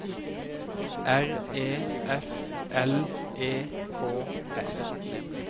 R E F L E K S